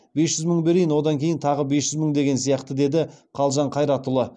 бес жүз мың берейін одан кейін тағы бес жүз мың деген сияқты деді қалжан қайратұлы